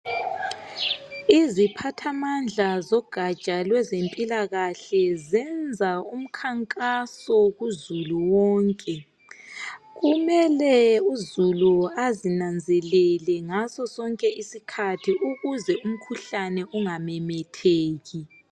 Iziphathamandla zogatsha lwezempilakahle zenza umkhankaso kuzulu wonke, kumele uzulu azinanzelele ngasosonke isikhathi ukuze umkhuhlane ungamemetheki.